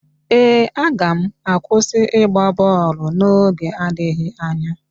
Ee, aga m akwụsị ịgba bọọlụ n'oge adịghị anya.